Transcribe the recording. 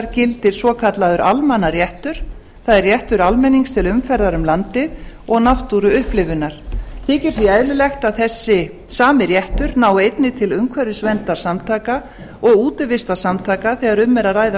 gildir svokallaður almannaréttur það er réttur almennings til umferðar um landið og náttúruupplifunar þykir því eðlilegt að þessi sami réttur nái einnig til umhverfisverndarsamtaka og útivistarsamtaka þegar um er að ræða